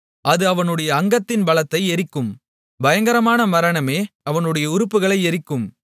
அது அவனுடைய அங்கத்தின் பலத்தை எரிக்கும் பயங்கரமான மரணமே அவனுடைய உறுப்புகளை எரிக்கும்